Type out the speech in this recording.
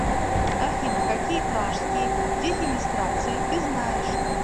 афина какие пражские дефенестрации ты знаешь